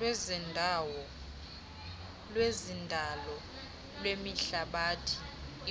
lwezendalo lwehlabathi